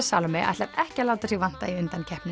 Salóme ætlar ekki að láta sig vanta í undankeppnina